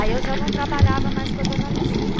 Aí eu já não trabalhava mais com a dona Luzia.